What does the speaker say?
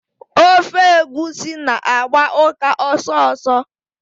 Ofe egwusi na-agba ụka ọsọsọ.